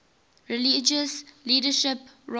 religious leadership roles